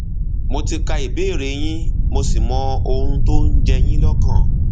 mo ti ka ìbéèrè yín mo sì mọ ohun tó ń ń jẹ yín lọkàn